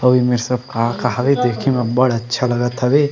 अऊ एमेर सब का-का हवे देखे में अबबढ़ अच्छा लगत हवे।